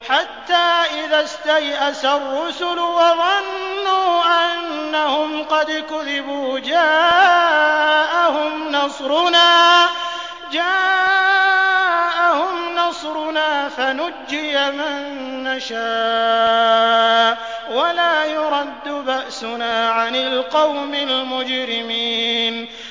حَتَّىٰ إِذَا اسْتَيْأَسَ الرُّسُلُ وَظَنُّوا أَنَّهُمْ قَدْ كُذِبُوا جَاءَهُمْ نَصْرُنَا فَنُجِّيَ مَن نَّشَاءُ ۖ وَلَا يُرَدُّ بَأْسُنَا عَنِ الْقَوْمِ الْمُجْرِمِينَ